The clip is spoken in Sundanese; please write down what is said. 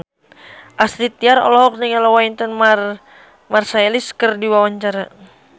Astrid Tiar olohok ningali Wynton Marsalis keur diwawancara